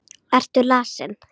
Ertu lasin?